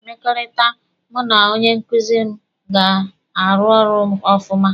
Mmekọrịta mụ na onye nkuzi m ga-arụ ọrụ ọfụma.